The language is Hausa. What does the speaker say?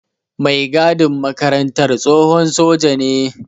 Mai gadin makarantar tsohon soja ne.